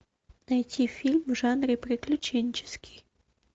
найти фильм в жанре приключенческий